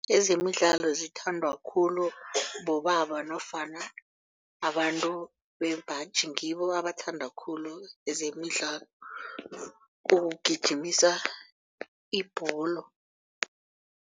Ezemidlalo zithandwa khulu bobaba nofana abantu bembaji ngibo abathanda khulu zemidlalo ukugijimisa ibholo.